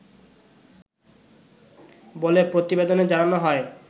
বলে প্রতিবেদনে জানানো হয়